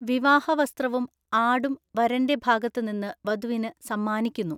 വിവാഹ വസ്ത്രവും ആഡും വരൻ്റെ ഭാഗത്തു നിന്ന് വധുവിന് സമ്മാനിക്കുന്നു.